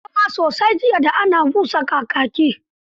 Na yi rawa sosai jiya da ana busa kakaki.